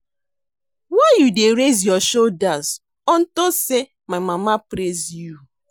Why you dey raise your shoulders unto say my mama praise you